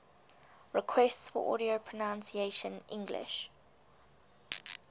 requests for audio pronunciation english